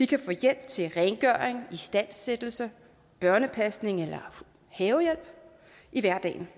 kan få hjælp til rengøring istandsættelse børnepasning eller havehjælp i hverdagen